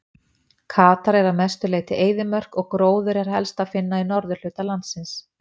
Katar er að mestu leyti eyðimörk og gróður er helst að finna í norðurhluta landsins.